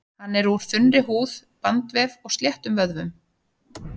Hann er úr þunnri húð, bandvef og sléttum vöðvum.